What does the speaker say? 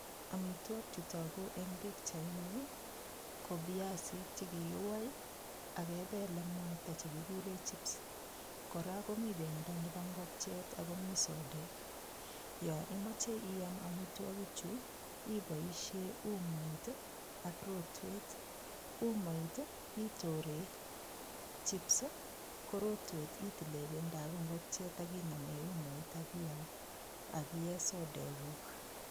Amitwogik che togu eng pichaini ko viasik chekikiwai ak kepel eng mwaita nekigure chips. Kora komi pendo nebo ngokiet akomi sodek. Yo imoche iam amitwagichu iboishe umoit ak rotwet. Umoit itore chips ko rotwet itile pendop ngokchet akie sokeduk.